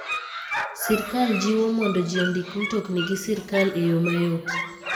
Sirkal jiwo mondo ji ondik mtokni gi sirkal e yo mayot.